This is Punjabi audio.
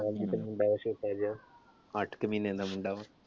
ਮੁੰਡਾ ਆ ਛੋੱਟਾ ਜਿਹਾ, ਅੱਠ ਕ ਮਹੀਨੇ ਦਾ ਮੁੰਡਾ ਵਾ।